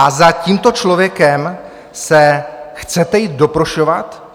A za tímto člověkem se chcete jít doprošovat?